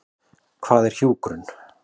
Hvað er hjúkrun?